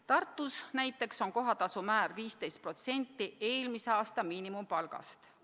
Tartus näiteks on kohatasu määr 15% eelmise aasta miinimumpalgast.